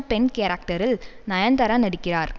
பெண் கேரக்டரில் நயன்தாரா நடிக்கிறார்